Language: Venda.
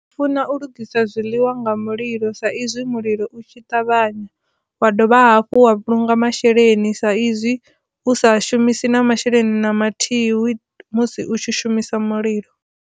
Funa u lugisa zwiḽiwa nga mulilo sa izwi mulilo u tshi ṱavhanya wa dovha hafhu wa nga masheleni sa izwi hu sa shumisi na masheleni na mathihi hu musi u tshi shumisa mulilo.